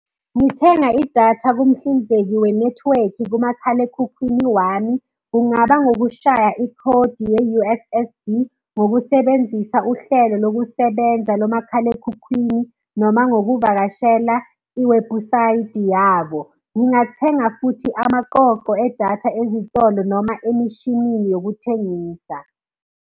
Ngithenga idatha kumhlinzeki wenethiwekhi kumakhalekhukhwini wami. Kungaba ngukushaya ikhodi ye-U_S_S_D, ngokusebenzisa uhlelo lokusebenza lo makhalekhukhwini noma ngokuvakashela iwebhusayidi yabo. Ngingathenga futhi amaqoqo edatha ezitolo noma emishinini yokuthengisa.